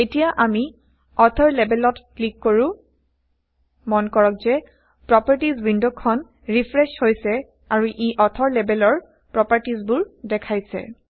এতিয়া আমি অথৰ লেবেলত ক্লিক কৰো মন কৰক যে প্ৰপাৰ্টিজ ৱিণ্ডখন ৰিফ্ৰেশ্ব হৈছে আৰু ই অথৰ লেবেলৰ প্ৰপাৰ্টিজবোৰ দেখাইছে